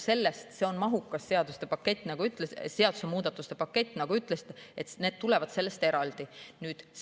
See on mahukas seaduste muudatuste pakett, nagu ütlesite, aga need tulevad sellest eraldi.